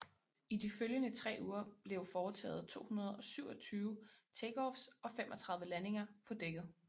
I de følgende tre uger blev foretaget 227 takeoffs og 35 landinger på dækket